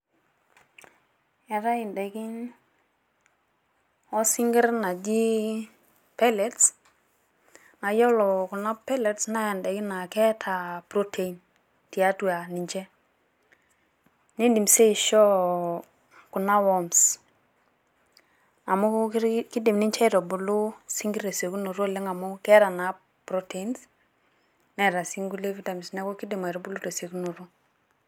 Eetae edaikin isinkirr naji peletes naa iyiolou Kuna peletes naa indaikin naa keeta protein tiatua ninche. Eedim sii aishoo Kuna warms amu keidim ninche aitubulu isinkirr tesiokinoto amu ketaa naa proteins Neeta naa enkulie vitamins neeku keidim aitubulu tesiokinoto.